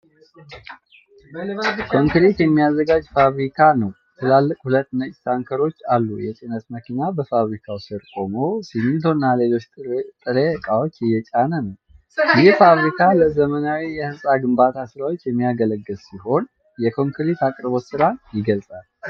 ኮንክሪት የሚያዘጋጅ ፋብሪካ ነው። ትላልቅ ሁለት ነጭ ታንከሮች አሉ። የጭነት መኪና በፋብሪካው ስር ቆሞ ሲሚንቶና ሌሎች ጥሬ ዕቃዎችን እየጫነ ነው። ይህ ፋብሪካ ለዘመናዊ የሕንፃ ግንባታ ሥራዎች የሚያገለግል ሲሆን፣ የኮንክሪት አቅርቦት ሥራን ይገልጻል።